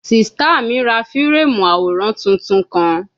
Sista mi ra fireemu aworan tuntun kan